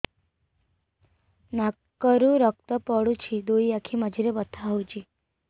ନାକରୁ ରକ୍ତ ପଡୁଛି ଦୁଇ ଆଖି ମଝିରେ ବଥା ହଉଚି